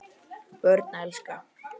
Börn elska.